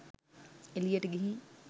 එළියට ගිහින්